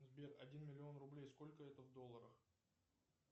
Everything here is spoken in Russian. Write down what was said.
сбер один миллион рублей сколько это в долларах